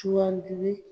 Sugandili